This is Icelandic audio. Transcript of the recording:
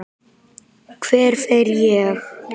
Hver fer ég?